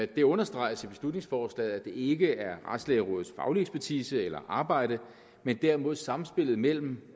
det understreges i beslutningsforslaget at det ikke er retsplejerådets faglige ekspertise eller arbejde men derimod sammenspillet mellem